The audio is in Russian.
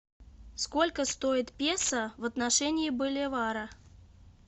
сколько стоит песо в отношении боливара